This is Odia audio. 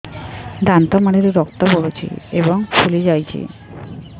ଦାନ୍ତ ମାଢ଼ିରୁ ରକ୍ତ ପଡୁଛୁ ଏବଂ ଫୁଲି ଯାଇଛି